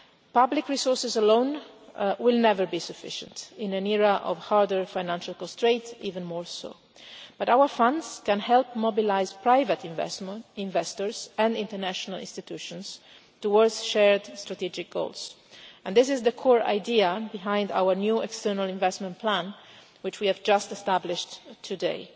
Public resources alone will never be sufficient, in an era of harder financial constraints even more so, but our funds can help mobilise private investors and international institutions towards shared strategic goals, and this is the core idea behind our new External Investment Plan which we have just established today.